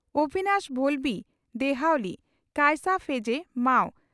ᱚᱵᱷᱤᱱᱟᱥ ᱵᱷᱚᱞᱵᱷᱤ (ᱫᱮᱦᱣᱟᱞᱤ) ᱠᱟᱭᱥᱟ ᱯᱷᱮᱡᱮ (ᱢᱟᱼᱚ)